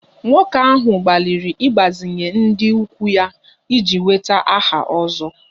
Nwoke ahụ gbalịrị ịgbazinye ndị ikwu ya iji nweta aha 'ozo'